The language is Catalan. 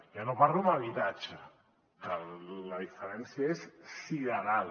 ja no parlo en habitatge que la diferència és sideral